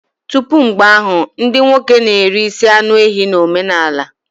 Tupu mgbe ahụ, ndị nwoke na-eri isi anụ ehi na omenala Igbo.